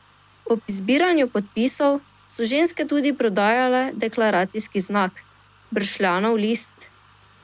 Ob zbiranju podpisov so ženske tudi prodajale deklaracijski znak, bršljanov list.